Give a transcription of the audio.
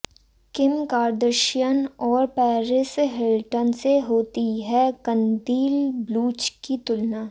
किम Kardashian और Paris Hilton से होती है कंदील बलूच की तुलना